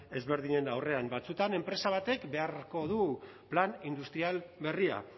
ezberdinen aurrean batzuetan enpresa batek beharko du plan industrial berria